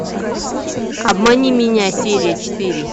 обмани меня серия четыре